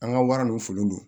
An ka wara dɔw foli don